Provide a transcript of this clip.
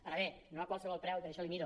ara bé no a qualsevol preu i per això li miro